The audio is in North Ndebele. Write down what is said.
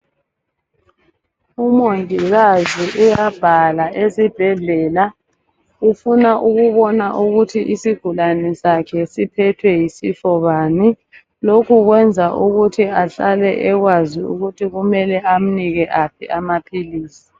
Umongikazi uyabhala esibhedlela, ufuna ukubona ukuthi isigulane sakhe siphethwe yisifo bani, lokho kwenza ukuthi ahlale ekwazi ukuthi kumele amnike aphi amaphilisi.